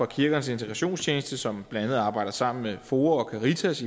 kirkernes integrations tjeneste som blandt andet arbejder sammen med foa og caritas